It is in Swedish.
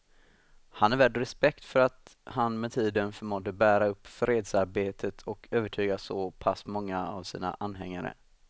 Han är värd respekt för att han med tiden förmådde bära upp fredsarbetet och övertyga så pass många av sina anhängare.